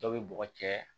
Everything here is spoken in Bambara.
Dɔw bɛ bɔgɔ cɛ